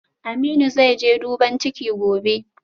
Aminu zaije duban ciki gobe